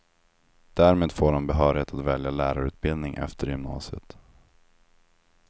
Därmed får han behörighet att välja lärarutbildning efter gymnasiet.